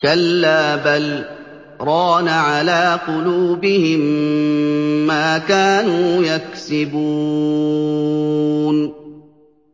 كَلَّا ۖ بَلْ ۜ رَانَ عَلَىٰ قُلُوبِهِم مَّا كَانُوا يَكْسِبُونَ